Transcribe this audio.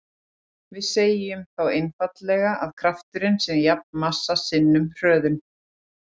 Við segjum þá einfaldlega að krafturinn sé jafn massa sinnum hröðun.